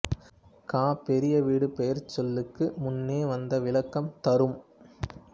கா பெரிய வீடு பெயர்ச்சொல்லுக்கு முன்னே வந்து விளக்கம் தரும்